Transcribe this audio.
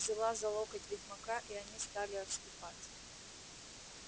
взяла за локоть ведьмака и они стали отступать